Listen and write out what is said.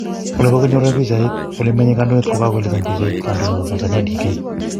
Ole kokinyorune pichaik, ole menye kandoindet ko kagoelezan pichait, kandoindet ap Tnanzania, Dk